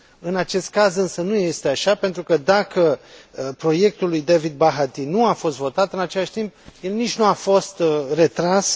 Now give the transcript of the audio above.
În acest caz însă nu este așa pentru că, dacă proiectul lui David Bahati nu a fost votat, în același timp, el nici nu a fost retras.